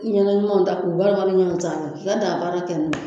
I ɲɛna ɲumanw ta k'u walangata ɲɔgɔn sanfɛ i bɛ daabaara kɛ n'a ye